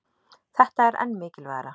Þetta er enn mikilvægara